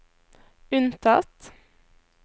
unntatt